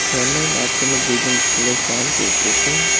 ঝর্নার মাঝখানে দুইজন ছেলে স্নান করতাসে।